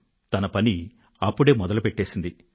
అది తన పనిని అప్పుడే మొదలుపెట్టేసింది